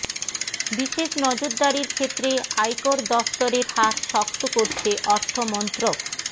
বিশেষ নজরদারির ক্ষেত্রে আয়কর দফতরের হাত শক্ত করছে অর্থমন্ত্রক